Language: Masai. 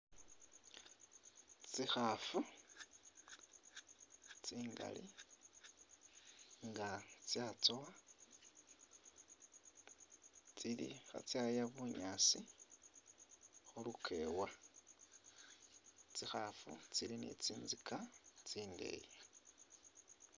Tsikhaafu tsingali nga tsatsowa tsili khatsaya bunyaasi khulukewa, tsikhaafu tsili ne tsinzika tsindeyi.